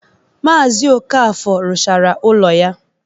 Maazi Okafor rụchara ụlọ ya.